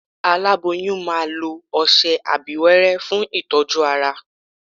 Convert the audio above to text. Aláboyún máa lo ọsẹ abíwẹ́rẹ́ fún ìtọ́jú ara